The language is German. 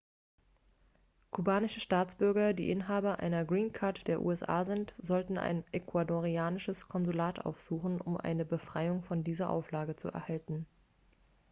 kubanische staatsbürger die inhaber einer green card der usa sind sollten ein ecuadorianisches konsulat aufsuchen um eine befreiung von dieser auflage zu erhalten